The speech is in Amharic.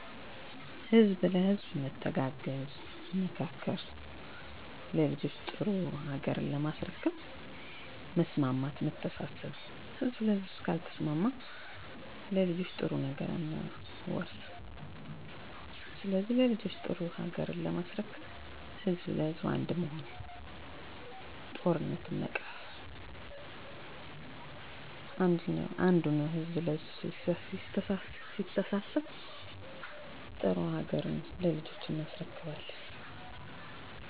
ለልጆችዎ፣ የአካባቢ ንፁህ ለምለም እና አረንጓዴ የሆነች ሀገር አስረክበናቸው ባላቸው እውቀትና ጥበብ ሀገራቸውን ከአለም ሀያላን ሀገር በኢኮኖሚ ከሚባሉት ጎን እንድትሰለፍ እንዲያደርጉ ለቤተሰብዎ ወይም በአጠቃላይ ለማህበረሰብዎ የወደፊት ትልቁ ምኞቶ ምንድነው? ህዝብ ለህዝብ ግንኙነቱ ጠንክሮ በአንድ ቃል ተናጋሪ በአንድ ልብ አሳቢ ሆነው እንዲኖሩ በብሄር በቋንቋ በእምነት ያለውን ልዩነት አጥፍተው ድህነትን እደተረተረት እንዲያለሙት የተሻለ ምን ለውጥ ማየት ይፈልጋሉ? ሀገራችን ያላትን እምቅ ሀብት ተጠቅመው ያለቸውን እውቀት ለመፎካከር ሳይሆን ለብልፅግና እንዲሆን በማድረግ የቀድሞ ስሟና ዝናዋ ተመልሶ ማየት